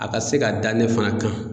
A ka se ka da ne fana kan.